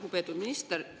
Lugupeetud minister!